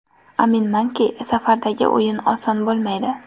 Aminmanki, safardagi o‘yin oson bo‘lmaydi.